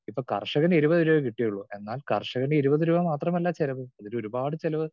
Speaker 2 ഇപ്പോ കർഷകന് ഇരുപത് രൂപയെ കിട്ടിയുള്ളൂ എന്നാൽ കർഷകന് ഇരുപത് രൂപ മാത്രമല്ല ചെലവ്. ഇതിലൊരുപാട് ചെലവ്